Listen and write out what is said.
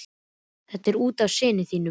Það er út af syni þínum.